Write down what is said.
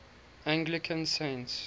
anglican saints